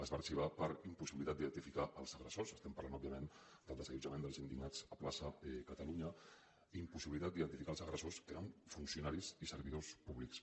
es va arxivar per impossibilitat d’identificar els agressors estem parlant òbviament del desallotjament dels indignats a la plaça catalunya que eren funcionaris i servidors públics